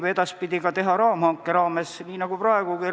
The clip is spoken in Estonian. Ka edaspidi võib raamhanke raames teha hankeid registris, nii nagu praegugi.